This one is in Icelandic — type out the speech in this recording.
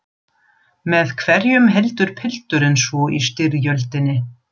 Með hverjum heldur pilturinn svo í styrjöldinni?